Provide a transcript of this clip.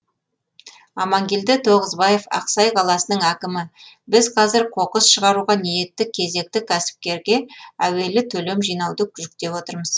амангелді тоғызбаев ақсай қаласының әкімі біз қазір қоқыс шығаруға ниетті кезекті кәсіпкерге әуелі төлем жинауды жүктеп отырмыз